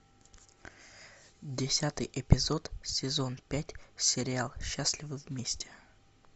десятый эпизод сезон пять сериал счастливы вместе